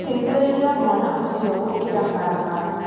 Teithĩrĩria mwana ũcio gũkira barabara